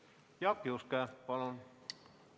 Jaak Juske, palun!